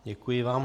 Děkuji vám.